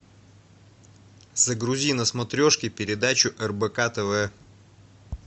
загрузи на смотрешке передачу рбк тв